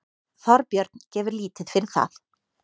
Þorbjörn gefur lítið fyrir það.